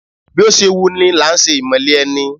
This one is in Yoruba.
Bí ó ṣe wu ni làá ṣe ìmọ̀le ẹni!